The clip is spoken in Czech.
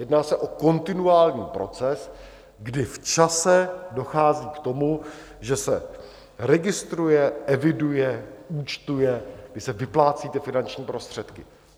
Jedná se o kontinuální proces, kdy v čase dochází k tomu, že se registruje, eviduje, účtuje, kdy se vyplácejí ty finanční prostředky.